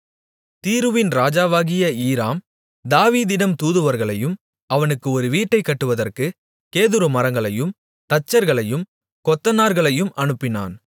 தீருவின் ராஜாவாகிய ஈராம் தாவீதிடம் தூதுவர்களையும் அவனுக்கு ஒரு வீட்டைக் கட்டுவற்குக் கேதுரு மரங்களையும் தச்சர்களையும் கொத்தனார்களையும் அனுப்பினான்